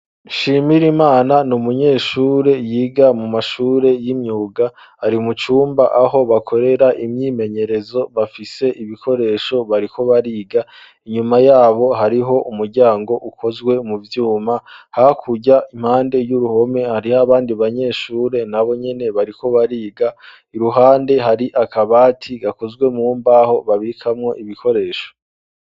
Nshimirimana ni umunyeshure yiga mu mashure y'imyuga, ari mu cumba aho bakorera imyimenyerezo bafise ibikoresho bariko bariga, inyuma yabo hariho umuryango ukozwe mu vyuma hakurya impande y'uruhome hariho abandi banyeshure na bo nyene bariko bariga, iruhande hari akabati gakozwe mu mbaho babikamwo ibikoresho.